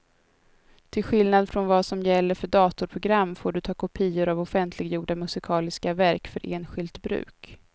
Till skillnad från vad som gäller för datorprogram får du ta kopior av offentliggjorda musikaliska verk för enskilt bruk.